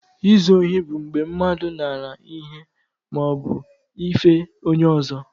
Izu ohi bụ mgbe mmadụ nara ihe ma obu ife onye ọzọ.